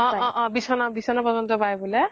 অ অ বিছনা বিছনা পাই বোলে